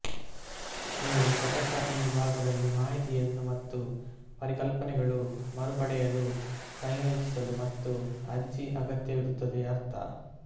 ನೀವು ಘಟಕ ಈ ಭಾಗದಲ್ಲಿ ಮಾಹಿತಿಯನ್ನು ಮತ್ತು ಪರಿಕಲ್ಪನೆಗಳು ಮರುಪಡೆಯಲು ಸಂಯೋಜಿಸಲು ಮತ್ತು ಅರ್ಜಿ ಅಗತ್ಯವಿರುತ್ತದೆ ಅರ್ಥ